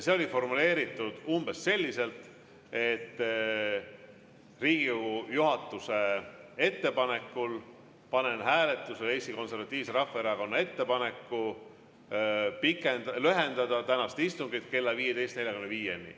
See oli formuleeritud umbes selliselt, et Riigikogu juhatuse ettepanekul panen hääletusele Eesti Konservatiivse Rahvaerakonna ettepaneku lühendada tänast istungit kella 15.45‑ni.